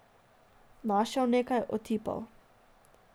Našel nekaj, otipal.